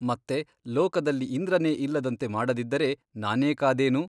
ಮತ್ತೆ ಲೋಕದಲ್ಲಿ ಇಂದ್ರನೇ ಇಲ್ಲದಂತೆ ಮಾಡದಿದ್ದರೆ ನಾನೇಕಾದೇನು ?